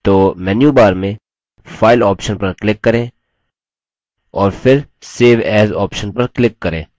तो menu bar में file option पर click करें और फिर save as option पर click करें